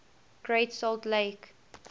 great salt lake